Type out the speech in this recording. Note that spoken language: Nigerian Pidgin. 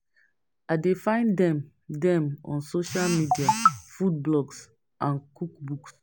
I dey find dem dem on social media, food blogs and cook books.